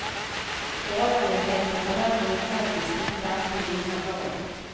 Borgerligheten behöver ju faktiskt inte alltid vinna val.